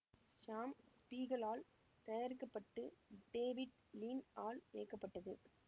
சாம் Spiegel ஆல் தயாரிக்க பட்டு டேவிட் லீன் ஆல் இயக்கப்பட்டது